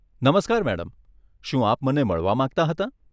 નમસ્કાર મેડમ, શું આપ મને મળવા માંગતાં હતાં?